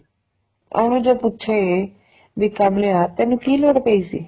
ਉਹਨੂੰ ਜੇ ਪੁੱਛੇ ਬੀ ਕਮਲਿਆ ਤੈਨੂੰ ਕੀ ਲੋੜ ਪਈ ਸੀ